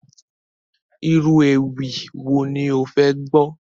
Irú ewì wo ni ó fẹ́ gbọ́?